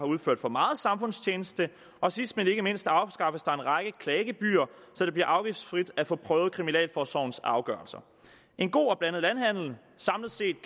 udført for meget samfundstjeneste og sidst men ikke mindst afskaffes der en række klagegebyrer så det bliver afgiftsfrit at få prøvet kriminalforsorgens afgørelser en god og blandet landhandel samlet set